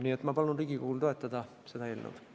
Nii et ma palun Riigikogul seda eelnõu toetada!